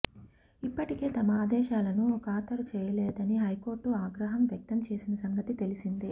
ఇప్పటికే తమ ఆదేశాలను ఖాతరు చేయలేదని హైకోర్టు ఆగ్రహం వ్యక్తం చేసిన సంగతి తెలిసిందే